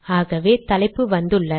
ஆகவே தலைப்பு வந்துள்ளது